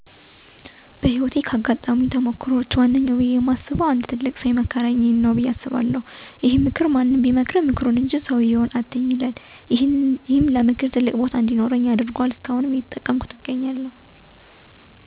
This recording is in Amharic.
በህይወቴ ውስጥ ካጋጠሙኝ ተሞክሮወች ውስጥ አንዱ እና ዋነኛው ብየ የማስበው አንድ ትልቅ ሠው የመከረኝ ነው በየ አስባለሁ። ይሄም ምክር በህይወቴ ላይ ትልቅ የሚባል ተጽዕኖ ያሳደረ ነበረ። ይሄም ምክር ማንም ይምከርህ ምክሩን እንጂ ሠውየውን አትይ የሚል ነበረ። ይሄን ምክር ከሠማሁ በኋላ ብዙ ነገሮች ተቀየሩ። ለምክር ትልቅ ቦታ እንዲኖረኝ አድርጎአል። እስከአሁን ድረስ እየተጠቀምኩት ነው የምገኘው።